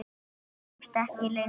Ég kemst ekki lengra.